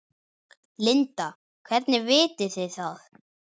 Linda: Hvernig vitið þið það?